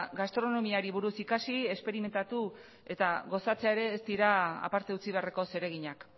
gastronomiari buruz ikasi esperimentatu eta gozatzea ere ez dira aparte utzi beharreko zereginak